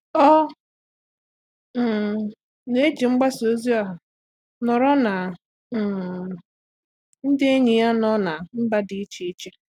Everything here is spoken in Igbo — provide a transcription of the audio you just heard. Ọ́ um nà-ejì mgbasa ozi ọha nọ́rọ́ na um ndị ényì nọ́ na mba dị́ iche iche.